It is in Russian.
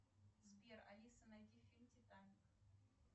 сбер алиса найди фильм титаник